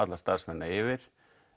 starfsmennina yfir